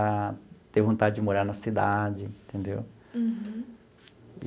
A ter vontade de morar na cidade, entendeu? Uhum.